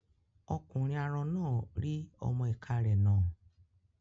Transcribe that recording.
Ọkùnrin arọ náà rí ọmọ-ìká rẹ̀ nà